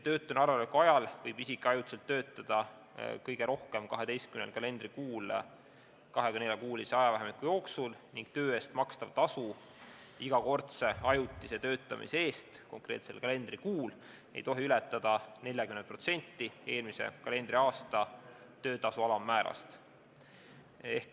Töötuna arvel oleku ajal võib isik ajutiselt töötada kõige rohkem 12 kalendrikuul 24-kuulise ajavahemiku jooksul ning töö eest makstav tasu igakordse ajutise töötamise eest konkreetsel kalendrikuul ei tohi ületada 40% eelmise kalendriaasta töötutasu alammäärast.